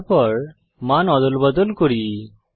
তারপর মান অদলবদল করি